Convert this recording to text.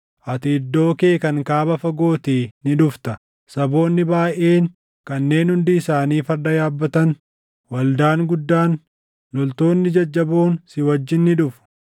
Ati iddoo kee kan kaaba fagootii ni dhufta; saboonni baayʼeen kanneen hundi isaanii farda yaabbatan, waldaan guddaan, loltoonni jajjaboon si wajjin ni dhufu.